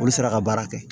Olu sera ka baara kɛ